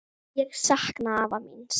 Ég sakna afa míns.